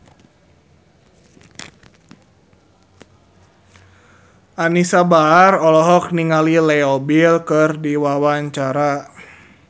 Anisa Bahar olohok ningali Leo Bill keur diwawancara